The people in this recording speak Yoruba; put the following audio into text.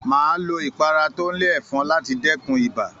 Máa lo ipara tó n le efọn láti dẹkùn ibà